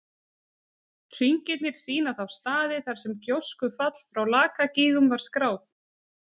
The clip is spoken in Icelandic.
Hringirnir sýna þá staði þar sem gjóskufall frá Lakagígum var skráð.